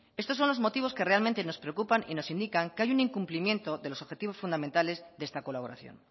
estos son los motivos que realmente nos preocupan y nos indican que hay un incumplimiento de los objetivos fundamentales de esta colaboración